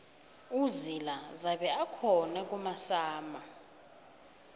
uzila zabe akhona kumasama